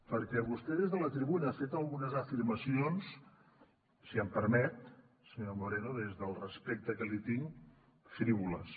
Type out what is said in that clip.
perquè vostè des de la tribuna ha fet algunes afirmacions si em permet senyor moreno des del respecte que li tinc frívoles